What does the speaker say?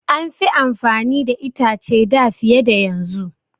An fi amfani da itace da fiye da yanzu.